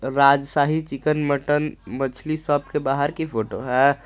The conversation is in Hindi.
राजशाही चिकन मटन मछली सब के बाहर की फोटो है।